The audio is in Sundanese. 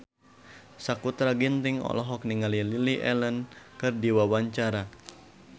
Sakutra Ginting olohok ningali Lily Allen keur diwawancara